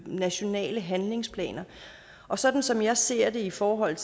nationale handlingsplaner og sådan som jeg ser det i forhold